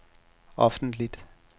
offentligt